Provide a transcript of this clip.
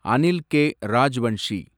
Anil K. Rajvanshi